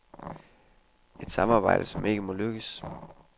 Et samarbejde, som ikke må lykkes.